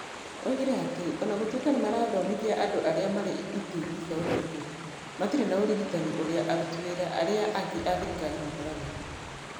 Oigire atĩ o na gũtuĩka nĩ marathomithia andũ arĩa marĩ itĩ-inĩ cia ũtongoria, matirĩ na ũrigitani ũrĩa aruti wĩra arĩa angĩ a thirikari makoragwo naguo.